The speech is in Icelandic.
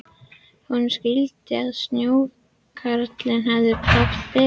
Honum skildist að snjókarlinn hefði haft betur.